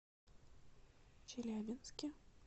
челябинске